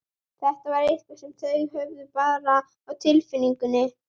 Þetta var eitthvað sem þau höfðu bara á tilfinningunni.